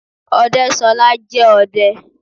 Ọdẹ́ṣọlá jẹ́ ọdẹ.